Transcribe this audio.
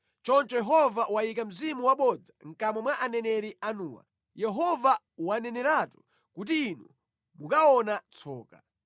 “Choncho Yehova wayika mzimu wabodza mʼkamwa mwa aneneri anuwa. Yehova waneneratu kuti inu mukaona tsoka.”